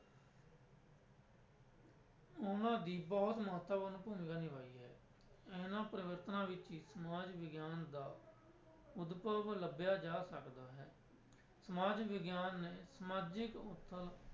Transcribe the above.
ਉਹਨਾਂ ਦੀ ਬਹੁਤ ਮਹੱਤਵਪੂਰਨ ਭੂਮਿਕਾ ਨਿਭਾਈ ਹੈ ਇਹਨਾਂ ਪਰਿਵਰਤਨਾਂ ਵਿੱਚ ਹੀ ਸਮਾਜ ਵਿਗਿਆਨ ਦਾ ਉਦਭਵ ਲੱਭਿਆ ਜਾ ਸਕਦਾ ਹੈ ਸਮਾਜ ਵਿਗਿਆਨ ਨੇ ਸਮਾਜਿਕ ਉਥਲ